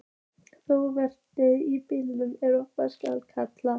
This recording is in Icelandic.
Þjóðverjunum í bílnum er orðið afskaplega kalt.